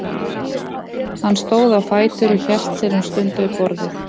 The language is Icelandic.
Hann stóð á fætur og hélt sér um stund við borðið.